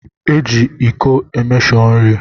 Eji ịko emeshọ nri